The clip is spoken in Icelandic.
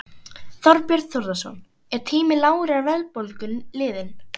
Þorbjörn Þórðarson: Er tími lágrar verðbólgu liðinn?